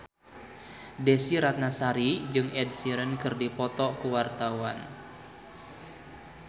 Desy Ratnasari jeung Ed Sheeran keur dipoto ku wartawan